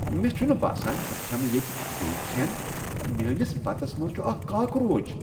مےٚ چُھنہٕ باسان بہٕ كھیمہٕ ییتہِ بیٚیہِ كھیٚن، میٲنس بَتس منز چُھ اكھ کاکروچ۔۔